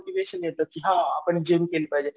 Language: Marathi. येतं की हां आपण जिम केलं पाहिजे